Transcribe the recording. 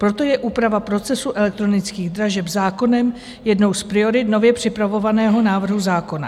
Proto je úprava procesu elektronických dražeb zákonem jednou z priorit nově připravovaného návrhu zákona.